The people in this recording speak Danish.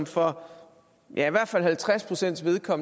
for